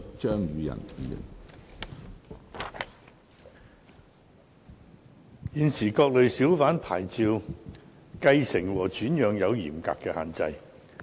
現時，各類小販牌照的繼承和轉讓有嚴格的限制。